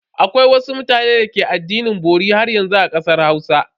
Akwai wasu mutanen da ke addinin bori haryanzu a kasar Hausa.